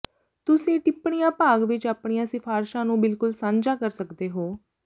ਤੁਸੀਂ ਟਿੱਪਣੀਆਂ ਭਾਗ ਵਿੱਚ ਆਪਣੀਆਂ ਸਿਫਾਰਸ਼ਾਂ ਨੂੰ ਬਿਲਕੁਲ ਸਾਂਝਾ ਕਰ ਸਕਦੇ ਹੋ